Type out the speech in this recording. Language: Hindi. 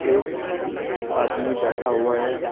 एक आदमी बैठा हुआ है।